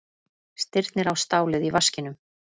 Stirnir á stálið í vaskinum.